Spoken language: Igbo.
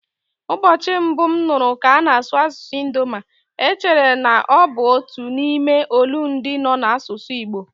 Ụbọchị mbụ m nụrụ ka ana-asụ asụsụ Idoma, echere na ọ bụ otu n'ime olundị nọ n'asụsụ Igbo.